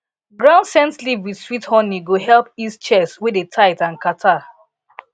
ground scent leaf with sweet honey go help ease chest wey dey tight and catarrh